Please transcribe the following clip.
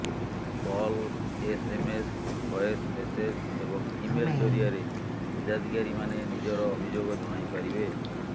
call SMS voice message ଏବଂ email ଜରିଆରେ ହିତାଧିକାରୀମାନେ ନିଜର ଅଭିଯୋଗ ଜଣାଇପାରିବେ